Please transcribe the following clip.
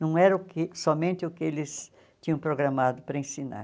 Não era o que somente o que eles tinham programado para ensinar.